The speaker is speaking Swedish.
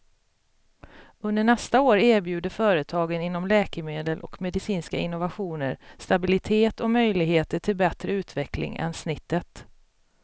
Under nästa år erbjuder företagen inom läkemedel och medicinska innovationer stabilitet och möjligheter till bättre utveckling än snittet.